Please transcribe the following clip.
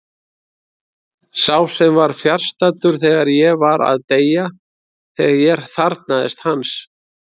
Sá sem var fjarstaddur þegar ég var að deyja, þegar ég þarfnaðist hans.